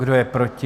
Kdo je proti?